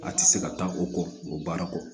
A tɛ se ka taa o kɔ o baara kɔ